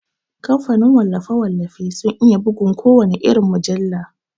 Kamfanin wallafe-wallafe sun iya bugun kowana irin mujalla.